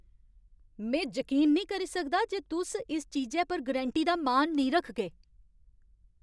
में जकीन निं करी सकदा जे तुस इस चीजै पर गरैंटी दा मान निं रखगे ।